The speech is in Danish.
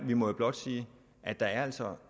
vi må jo blot sige at der altså